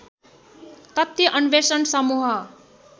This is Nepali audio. तथ्य अन्वेषण समूह